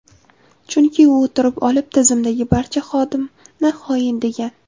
Chunki u o‘tirib olib, tizimdagi barcha xodimni xoin, degan.